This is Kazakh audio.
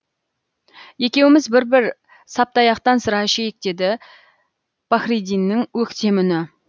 екеуміз бір бір саптаяқтан сыра ішейік деді пахридиннің өктем үні